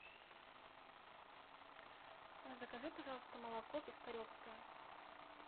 закажи пожалуйста молоко пискаревское